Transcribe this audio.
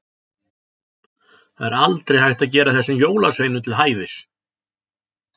Það er aldrei hægt að gera þessum jólasveinum til hæfis.